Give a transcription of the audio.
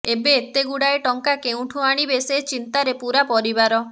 ଏବେ ଏତେ ଗୁଡାଏ ଟଙ୍କା କେଉଁଠୁ ଆଣିବେ ସେ ଚିନ୍ତାରେ ପୁରା ପରିବାର